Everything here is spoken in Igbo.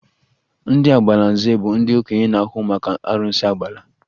Ndị Agbalanze bụ ndị okenye na-ahụ maka arụsị Agbala